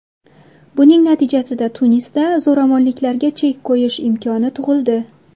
Buning natijasida Tunisda zo‘ravonliklarga chek qo‘yish imkoni tug‘ildi”.